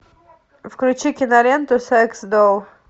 включи киноленту секс долл